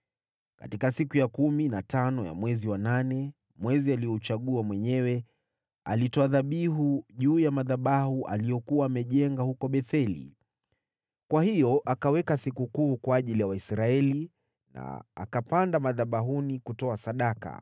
Katika siku ya kumi na tano ya mwezi wa nane, mwezi aliouchagua mwenyewe, alitoa dhabihu juu ya madhabahu aliyokuwa amejenga huko Betheli. Kwa hiyo akaweka sikukuu kwa ajili ya Waisraeli na akapanda madhabahuni kutoa sadaka.